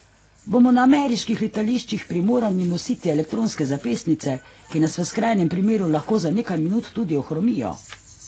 Bomo na ameriških letališčih primorani nositi elektronske zapestnice, ki nas v skrajnem primeru lahko za nekaj minut tudi ohromijo?